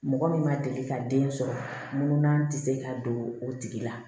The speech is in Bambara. Mɔgɔ min ma deli ka den sɔrɔ mun na ti se ka don o tigi la